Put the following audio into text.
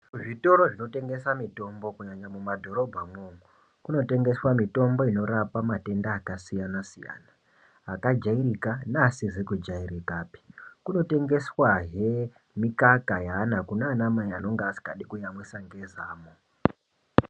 Zvitoro zvinotengeswa mutombo kunyanya mumadhorobha momo munotengeswa mitombo yakasiyana siyana akajairika neasizikujairikapi kunotengeswa hee mikaka yaana kunana mai asikadi kuyamwisa nezamo.